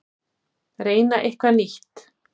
Reyna eitthvað nýtt.